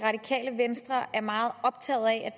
radikale venstre er meget optaget af